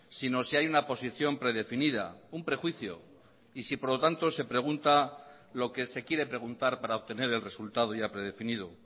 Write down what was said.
sino si hay una posición predefinida un prejuicio y si por lo tanto se pregunta lo que se quiere preguntar para obtener el resultado ya predefinido